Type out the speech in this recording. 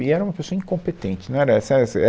E era uma pessoa incompetente, não era essa essa